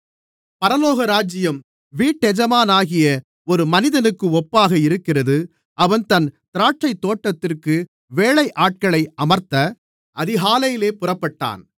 பரலோகராஜ்யம் வீட்டெஜமானாகிய ஒரு மனிதனுக்கு ஒப்பாக இருக்கிறது அவன் தன் திராட்சைத்தோட்டத்திற்கு வேலையாட்களை அமர்த்த அதிகாலையிலே புறப்பட்டான்